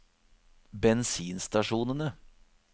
bensinstasjonene